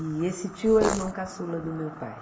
E esse tio é o irmão caçula do meu pai.